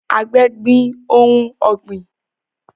Àgbẹ̀ gbin ohun ọ̀gbìn